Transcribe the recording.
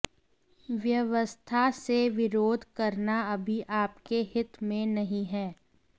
व्यवस्था से विरोध करना अभी आपके हित में नहीं है